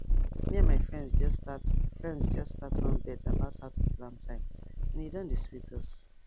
me and my friends just start friends just start one bet about how to plan time and e don dey sweet us